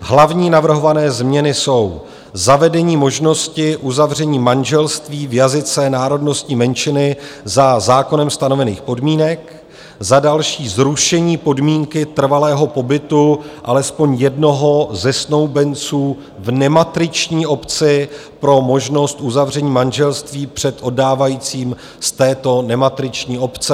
Hlavní navrhované změny jsou: zavedení možnosti uzavření manželství v jazyce národnostní menšiny za zákonem stanovených podmínek, za další zrušení podmínky trvalého pobytu alespoň jednoho ze snoubenců v nematriční obci pro možnost uzavření manželství před oddávajícím z této nematriční obce.